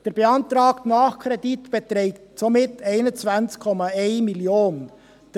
Der beantragte Nachkredit beträgt somit 21,1 Mio. Franken.